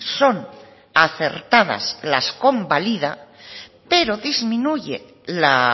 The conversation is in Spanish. son acertadas las convalida pero disminuye la